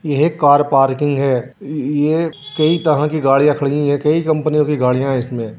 यह कर पार्किंग है यह कई तरह की गाड़ियां खड़ी है यह कई कंपनियों की गाड़ियां है इसमें।